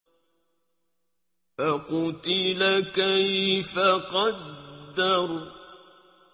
فَقُتِلَ كَيْفَ قَدَّرَ